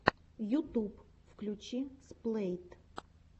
ютуб включи сплэйт